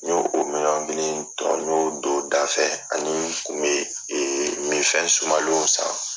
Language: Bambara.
N y'o o miliyɔn kelen tɔ y'o don o da fɛ ani n kun be minfɛn sumalenw san